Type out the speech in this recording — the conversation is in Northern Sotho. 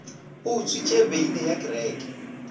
o utswitše beine ya kereke